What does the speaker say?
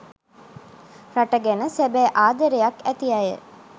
රට ගැන සැබෑ ආදරයක් ඇති අය